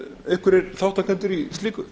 einhverjir þátttakendur í slíku